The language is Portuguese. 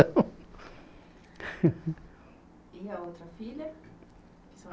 E a outra filha?